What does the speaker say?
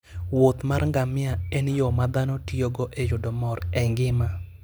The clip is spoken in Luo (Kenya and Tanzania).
wuoth mar ngamia en yo ma dhano tiyogo e yudo mor e ngima.